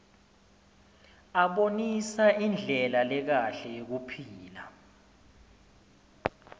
abonisa indlela lekahle yekuphila